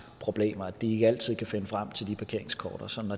problemer at de ikke altid kan finde de parkeringskort og sådan